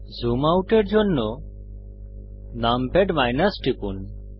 zoom আউটের জন্য numpad টিপুন